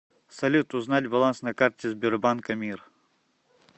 салют узнать баланс на карте сбербанка мир